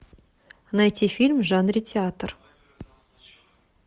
найти фильм в жанре театр